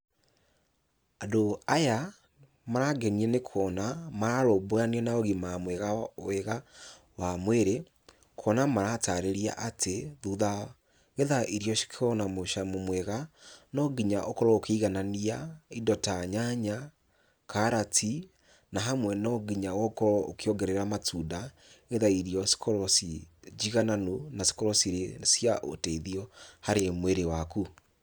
Andũ aya marangenia nĩ kuona mararũmbũyania na ũgima mwega wega wa mwĩrĩ, kuona maratarĩria atĩ, thutha nĩgetha irio cikorwo na mũcamo mwega, no nginya ũkorwo ũkĩiganania indo ta nyanya, karati na hamwe no nginya ũkorwo ũkĩongerera matunda nĩgetha irio cikorwo ci njigananu na cikorwo cirĩ cia ũteithio harĩ mwĩrĩ waku.